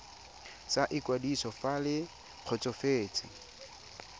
sa ikwadiso fa le kgotsofetse